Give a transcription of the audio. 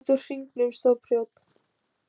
Út úr hringnum stóð prjónn.